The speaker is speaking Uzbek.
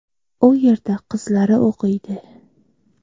U yerda qizlari o‘qiydi.